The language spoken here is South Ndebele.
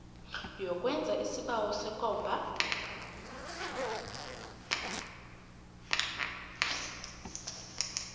yokwenza isibawo sekomba